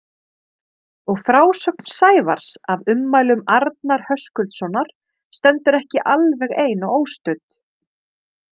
Og frásögn Sævars af ummælum Arnar Höskuldssonar stendur ekki alveg ein og óstudd.